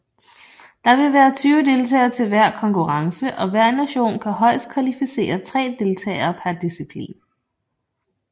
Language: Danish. Der vil være 20 deltagere til hver konkurrence og hver nation kan højest kvalificere 3 deltagere per disciplin